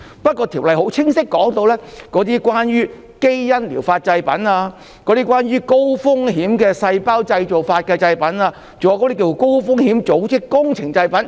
不過，《條例草案》很清晰的指出，是關於基因療法製品、高風險的體細胞療法製品，還有高風險的組織工程製品。